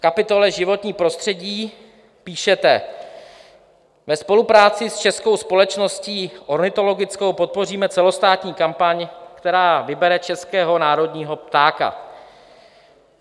V kapitole Životní prostředí píšete: "Ve spolupráci s Českou společností ornitologickou podpoříme celostátní kampaň, která vybere českého národního ptáka."